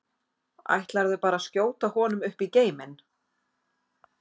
Ætlarðu bara að skjóta honum upp í geiminn?